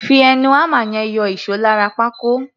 Fi ẹnu hámà yẹn yọ ìṣó lára pákó.